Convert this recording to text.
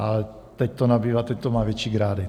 A teď to nabývá, teď to má větší grády.